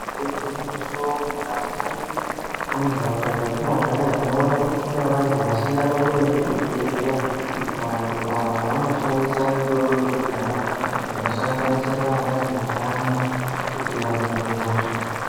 Igwinyiso mukati mentaraunda dzetinogara tinoona kuti kune vanthu vasingatomboendi kuzvibhedhleya vanthu ava vanoshandisa mitombo yekudhaya inosanganisira vana gedhlani kuti vahine hosha.